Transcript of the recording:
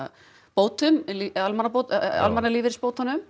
bótum